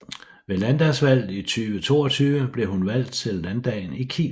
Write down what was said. Ved landdagsvalget 2022 blev hun valgt ind i Landdagen i Kiel